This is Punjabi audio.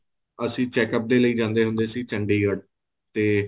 ਅਸੀਂ checkup ਦੇ ਲਈ ਜਾਂਦੇ ਹੁੰਦੇ ਸੀ ਚੰਡੀਗੜ੍ਹ ਤੇ